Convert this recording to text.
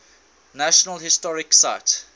national historic site